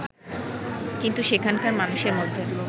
কিন্তু সেখানকার মানুষের মধ্যে